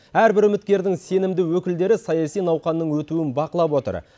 әрбір үміткердің сенімді өкілдері саяси науқанның өтуін бақылап отыр